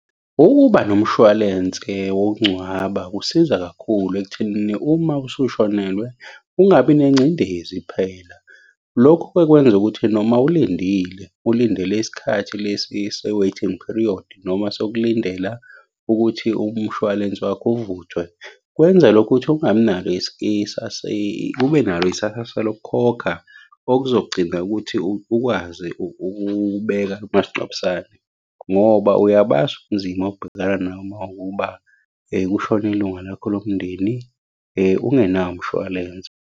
Ukuba nomshwalense wokungcwaba kusiza kakhulu ekuthenini uma usushonelwe, ungabi nengcindezi phela. Lokho-ke kwenza ukuthi noma ulindile, ulindele isikhathi lesi se-waiting period noma sokulindela ukuthi umshwalense wakho uvuthwe, kwenza lokhu ukuthi ungabi nalo . Ube nalo isasasa lokukhokha, okuzogcina ukuthi ukwazi ukubeka umasingcwabisane, ngoba uyabazi ubunzima obhekana nabo uma kuwukuba kushone ilunga lakho lomndeni ungenawo umshwalense.